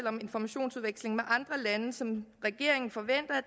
om informationsudveksling med andre lande som regeringen forventer at